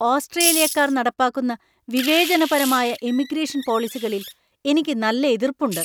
ഓസ്‌ട്രേലിയക്കാർ നടപ്പാക്കുന്ന വിവേചനപരമായ ഇമിഗ്രേഷൻ പോളിസികളിൽ എനിക്ക് നല്ല എതിർപ്പുണ്ട്.